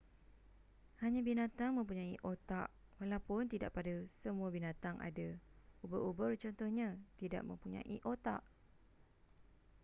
hanya binatang mempunyai otak walaupun tidak pada semua binatang ada; ubur-ubur contohnya tidak mempunyai otak